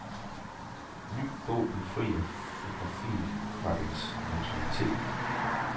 Ny bog befrier fotografiet fra dets neutralitet.